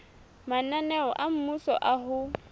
mananeo a mmuso a ho